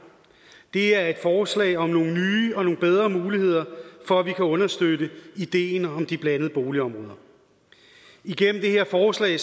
det er et forslag om nogle nye og bedre muligheder for at vi kan understøtte ideen om de blandede boligområder igennem det her forslag